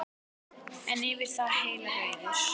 En yfir það heila: Rauður.